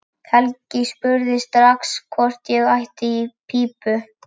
Helgi spurði mig strax hvort ég ætti í pípu.